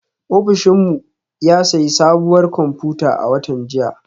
Ofishin mu ya sayi sabuwar kwamfuta a watan jiya